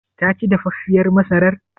Taci dafaffiyar masarar?